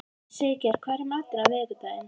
Siggerður, hvað er í matinn á miðvikudaginn?